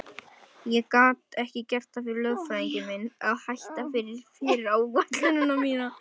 Ég gat ekki gert það fyrir lögfræðing minn að hætta við fyrirætlun mína.